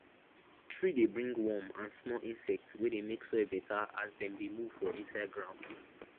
tree dey bring worm and small insect wey dey make soil better as dem dey move for inside ground